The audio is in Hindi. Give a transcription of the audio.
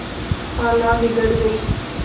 खाला बिगड़ गयीं